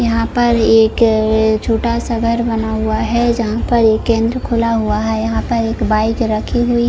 यहाँ पर एक छोटासा घर बना हुवा है जहाँपर इ केंद्र खुला हुवा है यहाँ पर एक बाइक रखी हुवी--